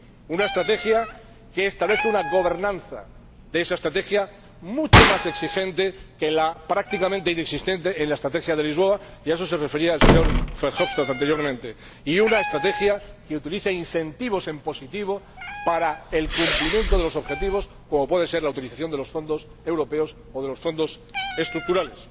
Una estrategia que establezca su propia gobernanza, mucho más exigente que la prácticamente inexistente de la Estrategia de Lisboa —y a eso se refería el señor Verhofstadt anteriormente—, y una estrategia que utilice incentivos en positivo para el cumplimiento de los objetivos, como puede ser la utilización de los fondos europeos o de los Fondos Estructurales.